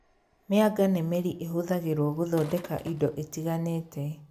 Mĩanga nĩ mĩri ĩhũthagĩrwo gũthondeka indo itiganĩte